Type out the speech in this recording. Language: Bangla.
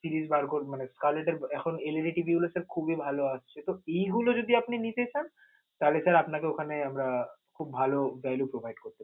fridge বার করব মানে collect এর এখন LED TV গুলো sir খুবিই ভালো আছে. তো এইগুলো যদি আপনে নিতে চান, তালে sir আপনাকে আমরা ওখানে খুব ভালো guide উপহার দেব.